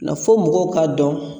fɔ mɔgɔw k'a dɔn